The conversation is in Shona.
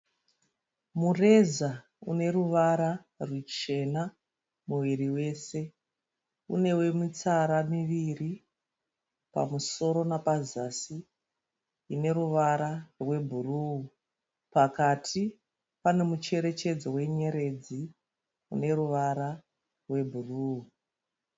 Mureza uneruvara rwuchena muviri wese. Inewo mitsara miviri pamusoro nepazasi ineruvara rwebhuruwu. Pakati pane mucherechedzo wenyeredzi ine ruvara rwubhuruwu.